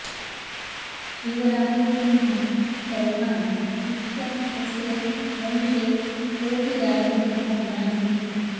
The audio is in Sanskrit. शिवराज सिंह चौहान इत्याख्यस्य वंशे कोऽपि राजनेता नासीत्